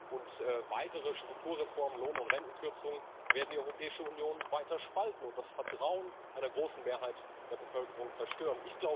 Und weitere Strukturreformen Lohn und Rentenkürzungen werden die Europäische Union weiter spalten und das Vertrauen einer großen Mehrheit der Bevölkerung zerstören.